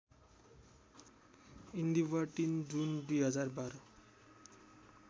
इन्दीवर ३ जुन २०१२